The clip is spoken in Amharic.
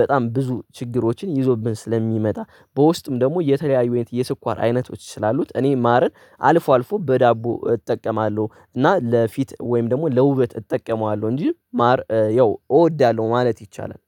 በጣም ብዙ ችግሮችን ይዞብን ስለሚመጣ። በውስጥም ደግሞ የተለያዩ የስኳር አይነቶች ስላሉት እኔ ማርን አልፎ አልፎ በዳቦ እጠቀማለሁ እና ለፊት ወይም ደግሞ ለውበት እጠቀማለሁ እንጂ ማር ያው እወዳለሁ ማለት ይቻላል።